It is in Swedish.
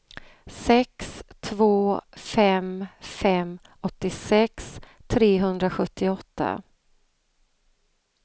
sex två fem fem åttiosex trehundrasjuttioåtta